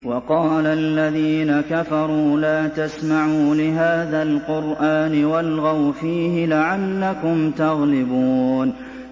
وَقَالَ الَّذِينَ كَفَرُوا لَا تَسْمَعُوا لِهَٰذَا الْقُرْآنِ وَالْغَوْا فِيهِ لَعَلَّكُمْ تَغْلِبُونَ